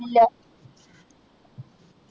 ഇല്ല